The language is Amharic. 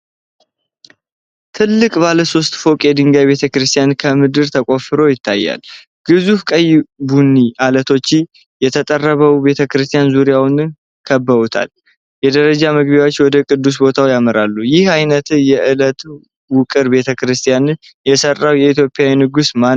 ትልቅ ባለ ሶስት ፎቅ የድንጋይ ቤተ ክርስቲያን ከምድር ተቆፍሮ ይታያል። ግዙፍ ቀይ ቡኒ ዐለቶች የተጠረበው ቤተ ክርስቲያን ዙሪያውን ከበውታል። የደረጃ መግቢያዎች ወደ ቅዱስ ቦታው ያመራሉ። ይህን አይነት የዐለት ውቅር ቤተ ክርስቲያን የሰራው የኢትዮጵያ ንጉሥ ማነው?